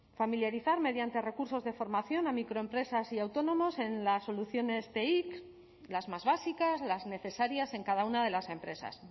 familiarizar mediante recursos de formación a microempresas y autónomos en las soluciones teic las más básicas las necesarias en cada una de las empresas